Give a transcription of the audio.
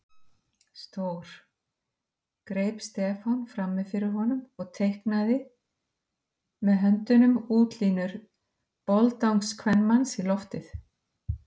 Stór. greip Stefán frammi fyrir honum og teiknaði með höndunum útlínur boldangskvenmanns í loftið.